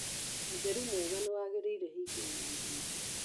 Ũtheru mwega nĩwagĩrĩire hingo ya gũthĩnja